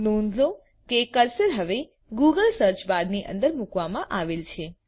નોંધ લો કે કર્સર હવે ગૂગલ સર્ચ બારની અંદર મૂકવામાં આવેલ છે